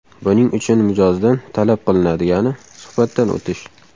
Buning uchun mijozdan talab qilinadigani – suhbatdan o‘tish.